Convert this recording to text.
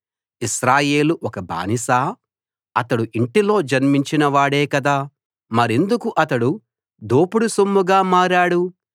ఇశ్రాయేలు ఒక బానిసా అతడు ఇంటిలో జన్మించిన వాడే కదా మరెందుకు అతడు దోపుడు సొమ్ముగా మారాడు